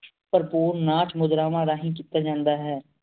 ਪ੍ਰਭੁਰ ਨਾਚ ਮੁਜਰਾਵਾਂ ਰਾਹੀਂ ਕੀਤਾ ਜਾਂਦਾ ਹੈ